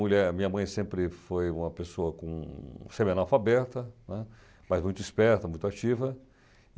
Minha mãe sempre foi uma pessoa com semi alfabeta, né, mas muito esperta, muito ativa.